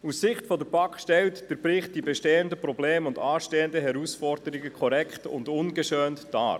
Aus Sicht der BaK stellt der Bericht die bestehenden Probleme und anstehenden Herausforderungen korrekt und ungeschönt dar.